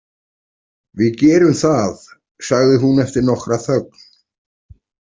Við gerum það, sagði hún eftir nokkra þögn.